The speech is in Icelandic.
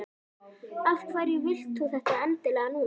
Af hverju vilt þú þetta endilega núna?